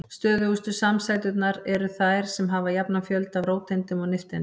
Stöðugustu samsæturnar eru þær sem hafa jafnan fjölda af róteindum og nifteindum.